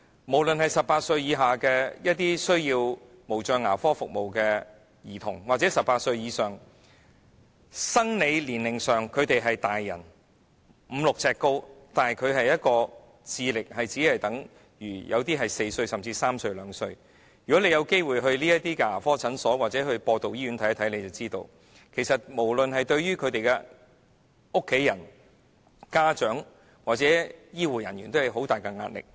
無論是18歲以下需要無障牙科服務的兒童或18歲以上，即生理年齡上是成年人，身高已經有五六呎，但智力卻只相等於4歲，甚至3歲或2歲兒童的人，如果大家有機會到這些牙科診所或播道醫院看看便知道，其實無論是對於他們的家人、家長或醫護人員，均構成很大的壓力。